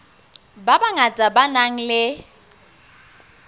ba bangata ba nang le